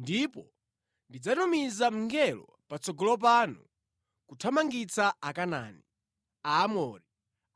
Ndipo ndidzatumiza mngelo patsogolo panu kuthamangitsa Akanaani, Aamori,